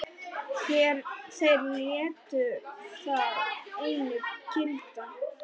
Þeir létu það einu gilda.